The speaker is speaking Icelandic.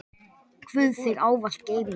Guð þig ávallt geymi.